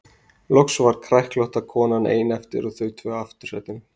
Loks var kræklótta konan ein eftir og þau tvö í aftursætinu.